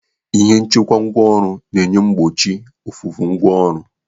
Ihe nchekwa ngwaọrụ na-enye gbochie ofufu ngwa ọrụ.